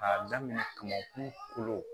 K'a daminɛ kamankun kolo